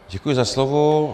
Děkuji za slovo.